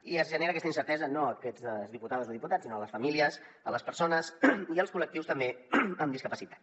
i es genera aquesta incertesa no a aquestes diputades o diputats sinó a les famílies a les persones i als col·lectius també amb discapacitat